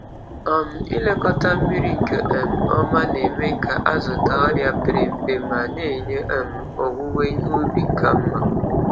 um Ịlekọta mmiri nke um ọma na-eme ka azụ daa ọrịa pere mpe ma na-enye um owuwe ihe ubi ka mma.